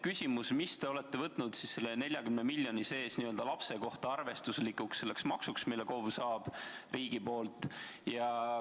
Küsimus: mis summa te olete võtnud selle 40 miljoni sees n-ö lapse kohta arvestuslikuks maksuks, mille KOV saab riigi poolt?